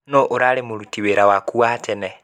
Nũ urarĩ muruti wĩra waku Wa tene?